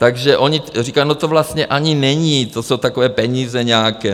Takže oni říkají, no to vlastně ani není, to jsou takové peníze nějaké.